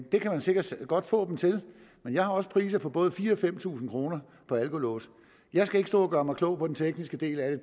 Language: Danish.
det kan man sikkert godt få dem til men jeg har også priser på både fire og fem tusind kroner på alkolåse jeg skal ikke stå og gøre mig klog på den tekniske del af